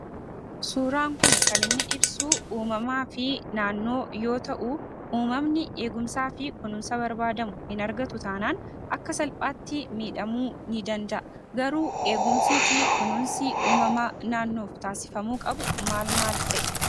Suuraan kun kan inni ibsu uumamaa fi naannoo yoo ta'u, uumamni eegumsaa fi kunuunsa barbaadamu hin argatu taanaan akka salphaatti miidhamuu ni danda'a garuu eegumsii fi kunuunsi uumamaa naannoof taasifamuu qabu maal maal fa'i?